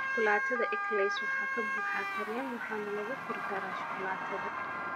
Shukulaatada eclairs waxaa ka buuxa kareem waxaana lagu kor daraa shukulaatada.